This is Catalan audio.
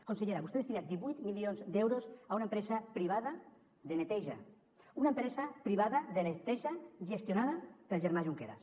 consellera vostè ha destinat divuit milions d’euros a una empresa privada de neteja una empresa privada de neteja gestionada pel germà junqueras